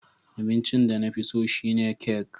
Abincin da na fi so shine kek